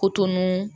Koto ninnu